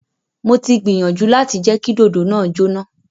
Mo ti gbiyanju lati jẹ ki dodo naa jona.